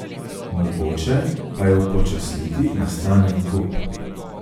Mogoče pa je upočasniti nastanek gub.